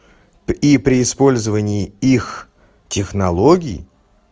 и при использовании их технологий